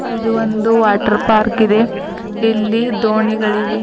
ಇದು ಒಂದು water park ಇದೆ ಇಲ್ಲಿ ದೋಣಿಗಳಿವೆ.